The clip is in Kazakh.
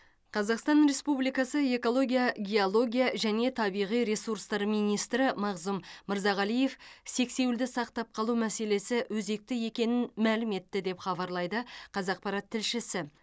қазақстан республикасы экология геология және табиғи ресурстар министрі мағзұм мырзағалиев сексеуілді сақтап қалу мәселесі өзекті екенін мәлім етті деп хабарлайды қазақпарат тілшісі